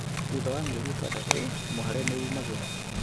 Thutha wa mĩeri itandatu mwĩhare nĩ umagĩra